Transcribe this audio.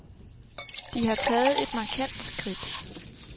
De har taget et markant skridt.